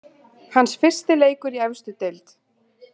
Hans fyrsti leikur í efstu deild.